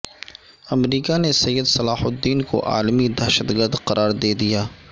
امریکہ نے سید صلاح الدین کو عالمی دہشت گرد قرار دیدیا